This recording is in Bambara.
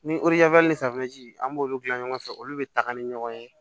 Ni an b'olu dilan ɲɔgɔn fɛ olu be taga ni ɲɔgɔn ye